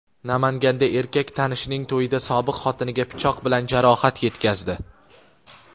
Namanganda erkak tanishining to‘yida sobiq xotiniga pichoq bilan jarohat yetkazdi.